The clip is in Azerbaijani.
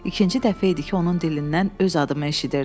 İkinci dəfə idi ki, onun dilindən öz adımı eşidirdim.